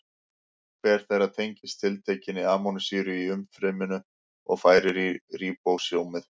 Hver þeirra tengist tiltekinni amínósýru í umfryminu og færir í ríbósómið.